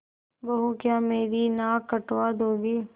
बहू क्या मेरी नाक कटवा दोगी